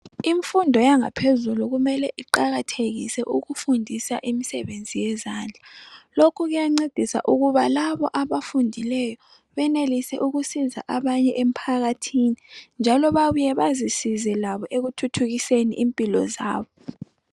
Imfundo yangaphezulu kumele iqakathekise ukufundisa imisebenzi yezandla, lokhu kuyancedisa ukuba labo abafundileyo benelise ukusiza abanye emphakathini, njalo babuye bazisize labo ekuthuthukiseni impilo zabo.